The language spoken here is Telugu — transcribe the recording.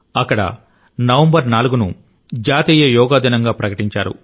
అక్కడ నవంబర్ 4 ను జాతీయ యోగా దినంగా ప్రకటించారు